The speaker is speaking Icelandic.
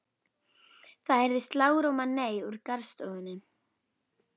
Það heyrist lágróma nei úr garðstofunni.